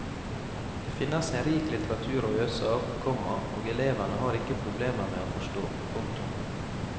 Det finnes en rik litteratur å øse av, komma og elevene har ikke problemer med å forstå. punktum